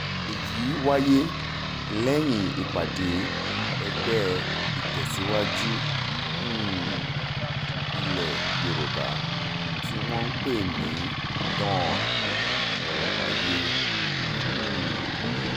èyí wáyé lẹ́yìn ìpàdé ẹgbẹ́ ìtẹ̀síwájú um ilẹ̀ yorùbá tí wọ́n ń pè ní dawn wáyé um